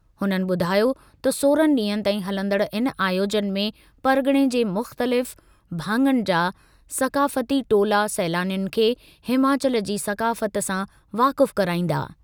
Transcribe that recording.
हुननि ॿुधायो त सोरहं ॾींहनि ताईं हलंदड़ इन आयोजन में परग॒णे जे मुख़्तलिफ़ भाङनि जा सक़ाफ़ती टोला सैलानियुनि खे हिमाचल जी सक़ाफ़ति सां वाक़ुफ़ु कराईंदा।